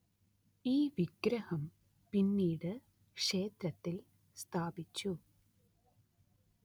ഈ വിഗ്രഹം പിന്നീട് ക്ഷേത്രത്തില്‍ സ്ഥാപിച്ചു